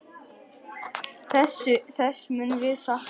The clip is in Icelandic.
Þess munum við sakna.